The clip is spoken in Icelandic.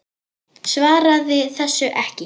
Svaraði þessu ekki.